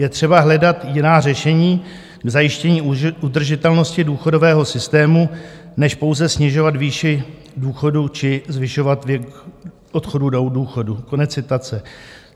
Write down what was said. Je třeba hledat jiná řešení k zajištění udržitelnosti důchodového systému než pouze snižovat výši důchodu či zvyšovat věk odchodu do důchodu."